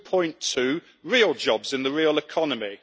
2.2 real jobs in the real economy.